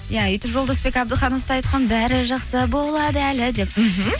иә өйтіп жолдасбек әбдіханов та айтқан бәрі жақсы болады әлі деп мхм